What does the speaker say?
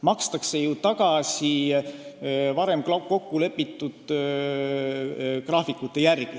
Makstakse tagasi varem kokkulepitud graafikute järgi.